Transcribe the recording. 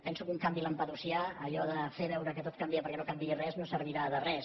penso que un canvi lampedusià allò de fer veure que tot canvia perquè no canviï res no servirà de res